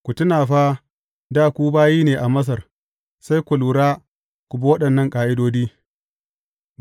Ku tuna fa, dā ku bayi ne a Masar, sai ku lura, ku bi waɗannan ƙa’idodi.